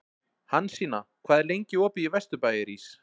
Hansína, hvað er lengi opið í Vesturbæjarís?